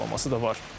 Açıqlaması da var.